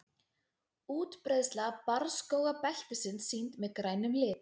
Útbreiðsla barrskógabeltisins sýnd með grænum lit.